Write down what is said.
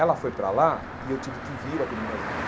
Ela foi para lá e eu tive que vir aqui no Brasil.